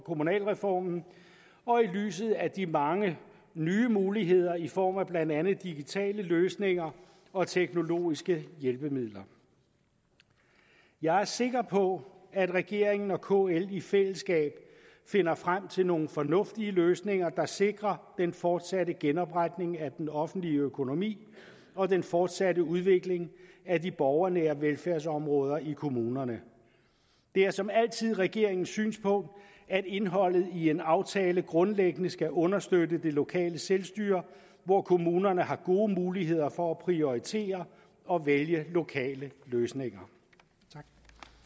kommunalreformen og i lyset af de mange nye muligheder i form af blandt andet digitale løsninger og teknologiske hjælpemidler jeg er sikker på at regeringen og kl i fællesskab finder frem til nogle fornuftige løsninger der sikrer den fortsatte genopretning af den offentlige økonomi og den fortsatte udvikling af de borgernære velfærdsområder i kommunerne det er som altid regeringens synspunkt at indholdet i en aftale grundlæggende skal understøtte det lokale selvstyre hvor kommunerne har gode muligheder for at prioritere og vælge lokale løsninger